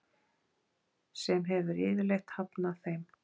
sem hefur yfirleitt hafnað þeim.